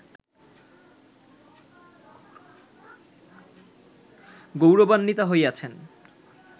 গৌরবান্বিতা হইয়াছেন